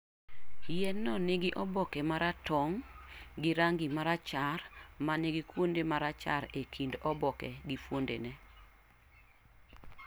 Yien-no nigi oboke ma ratong' gi rangi mar rachar ma nigi kuonde ma rachar e kind oboke gi funodene